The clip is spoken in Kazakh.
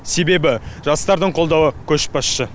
себебі жастардың қолдауы көшбасшы